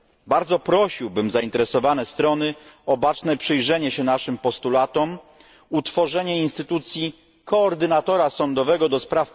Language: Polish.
Bardzo prosiłbym zainteresowane strony o baczne przyjrzenie się naszym postulatom, utworzenie instytucji koordynatora sądowego ds.